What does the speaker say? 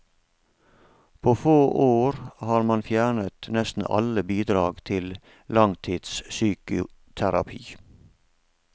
På få år har man fjernet nesten alle bidrag til langtidspsykoterapi.